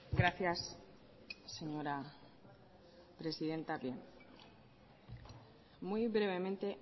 gracias señora presidenta bien muy brevemente